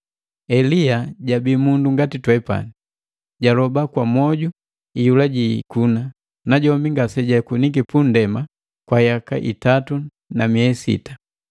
Elia jabii mundu ngati twepani. Jaloba kwa mwoju iyula jiikuna, najombi ngasejakunike punndema kwa yaka itatu na miei sita.